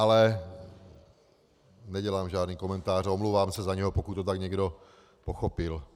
Ale nedělám žádný komentář, omlouvám se za něj, pokud to tak někdo pochopil.